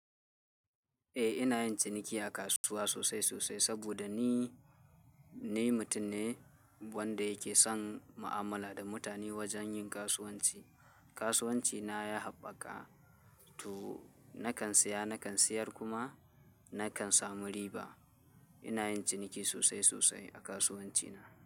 Eh ina yin ciniki a kasuwa sosai sosai saboda ni, ni mutum ne wanda yake son ma'amala da mutane wajen yin kasuwanci. Kasuwanci na ya haɓaka to nakan saya nakan sayar kuma nakan samu riba. Ina yin ciniki sosai sosai a kasuwanci na.